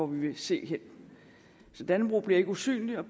vi vil se hen så dannebrog bliver ikke usynlig og